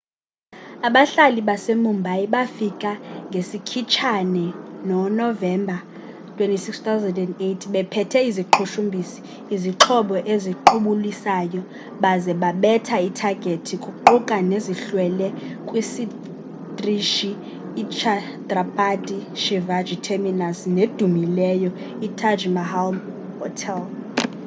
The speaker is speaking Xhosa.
abahlaseli base mumbai bafika ngesikhitshane no novemba 26,2008 bephethe iziqhushumbisi izixhobo eziqubulisayo baze babetha ithagethi kuquka nezihlwele kwisitrishi i chhatrapati shivaji terminus nedumileyo i taj mahal hotel